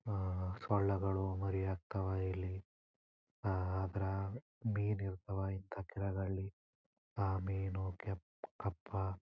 ಸೊಳ್ಳೆಗಳು ಮರಿ ಹಾಕ್ತವಾ ಇಲ್ಲಿ ಅದ್ರ ಮೀನು ಇರ್ತಾವ ಇಂತ ಕೆಳಗ ಅಲ್ಲಿ ಆ ಮೀನು ಕೇಪ್ ಕಪ್ಪಾ--